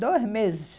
Dois meses.